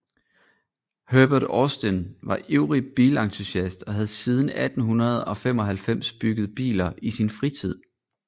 Herbert Austin var ivrig bilentusiast og havde siden 1895 bygget biler i sin fritid